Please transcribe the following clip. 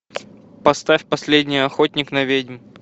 поставь последний охотник на ведьм